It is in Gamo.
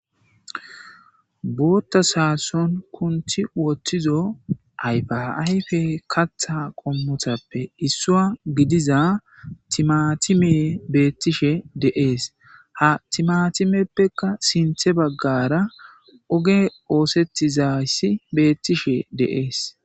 bootta saason kunti wottizo ayfaayfe katha qommotappe issua gidiza timatime beettishe deees ha timatimeppekka sinthe baggara oge oosettizayssi beettishe de7ees